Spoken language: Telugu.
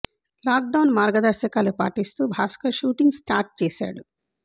లాక్ డౌన్ మార్గదర్శకాలు పాటిస్తూ భాస్కర్ షూటింగ్ స్టార్ట్ చేశాడు